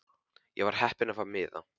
Ég var heppin að fá miða.